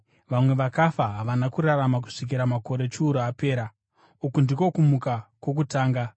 Vamwe vakafa havana kurarama kusvikira makore chiuru apera. Uku ndiko kumuka kwokutanga.